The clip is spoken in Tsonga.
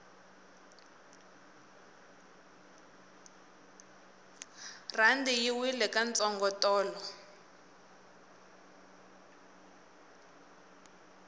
rhandi yi wile ka ntsongo tolo